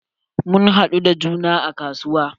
Mun haɗu da juna a kasuwa.